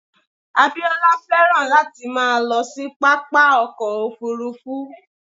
Abíọ́lá féràn láti máa lọ sí pápá ọkọ̀ Òfurufú.